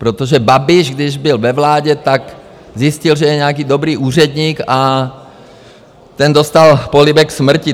Protože Babiš když byl ve vládě, tak zjistil, že je nějaký dobrý úředník, a ten dostal polibek smrti.